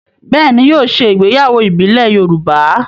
Bẹ́ẹ̀ ni, yóò ṣe ìgbéyàwó ìbílẹ̀ Yorùbá.